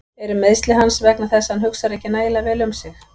Eru meiðsli hans vegna þess að hann hugsar ekki nægilega vel um sig?